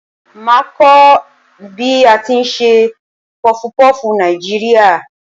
Màá a kó bí a ti n se pufupúfù Nàìjíríà